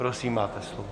Prosím, máte slovo.